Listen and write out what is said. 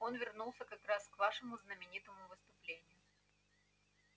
он вернулся как раз к вашему знаменитому выступлению